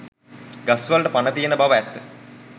ගස් වලට පණ තියෙන බව ඇත්ත